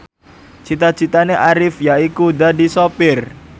cita citane Arif yaiku dadi sopir